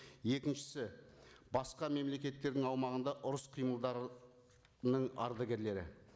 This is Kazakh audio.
екіншісі басқа мемлекеттердің аумағында ұрыс қимылдарының ардагерлері